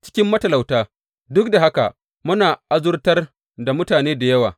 Cikin matalauta, duk da haka muna azurtar da mutane da yawa.